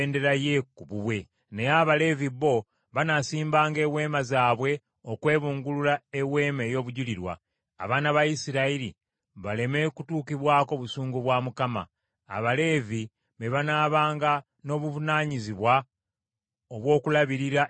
Naye Abaleevi bo banaasimbanga eweema zaabwe okwebungulula Eweema ey’Endagaano, abaana ba Isirayiri baleme kutuukibwako busungu bwa Mukama . Abaleevi be banaabanga n’obuvunaanyizibwa obw’okulabirira Eweema ey’Endagaano.”